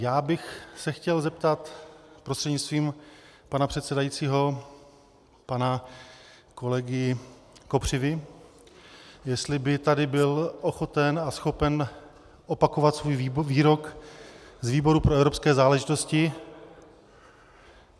Já bych se chtěl zeptat prostřednictvím pana předsedajícího pana kolegy Kopřivy, jestli by tady byl ochoten a schopen opakovat svůj výrok z výboru pro evropské záležitosti.